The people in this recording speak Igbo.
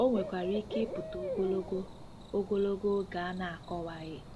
O nwekwara ike ịpụta ogologo, ogologo, oge a na-akọwaghị.